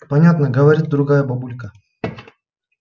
понятно говорит другая бабулька